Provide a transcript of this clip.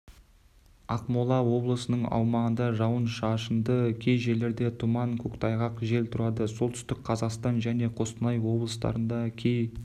ақмола облысының аумағында жауын-шашынды кей жерлерде тұман көктайғақ жел тұрады солтүстік қазақстан және қостанай облыстарында кей